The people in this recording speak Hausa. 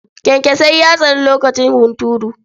Kyankyaso ya tsani lokacin hunturu.